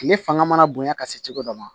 Tile fanga mana bonya ka se cogo dɔ ma